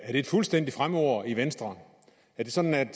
et fuldstændigt fremmedord i venstre er det sådan